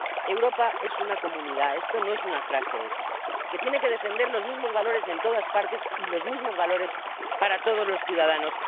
Europa es una comunidad —esto no es una frase hecha— que tiene que defender los mismos valores en todas partes y los mismos valores para todos los ciudadanos.